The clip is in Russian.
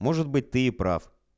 может быть ты и прав